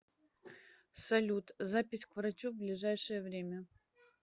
салют запись к врачу в ближайшее время